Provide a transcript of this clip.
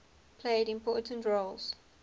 played important roles